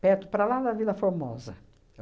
perto, para lá da Vila Formosa.